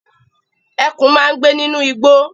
Ẹkùn máa ń gbé nínú igbó.